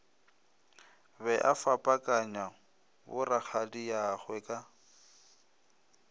be a fapakanya borakgadiagwe ka